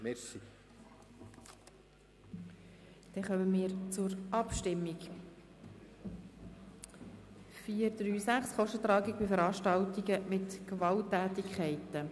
Wir kommen zur Abstimmung über 4.3.6 Kostentragung von Veranstaltungen mit Gewalttätigkeiten.